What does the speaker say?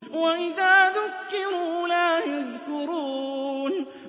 وَإِذَا ذُكِّرُوا لَا يَذْكُرُونَ